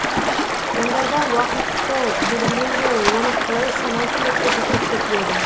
заңдарда уақытты белгілеу жолы оны қалай санау керектігі көрсетіледі